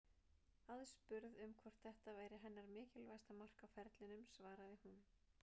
Aðspurð um hvort þetta væri hennar mikilvægasta mark á ferlinum svaraði hún: